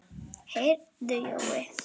Heyrðu Jói.